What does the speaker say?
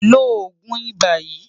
Lo oogun iba yii